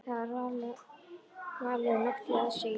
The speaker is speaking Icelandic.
Það er váleg nótt í aðsigi.